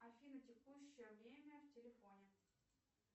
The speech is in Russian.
афина текущее время в телефоне